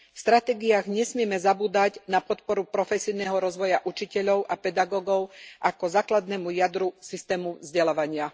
V stratégiách nesmieme zabúdať na podporu profesijného rozvoja učiteľov a pedagógov ako základnému jadru systému vzdelávania.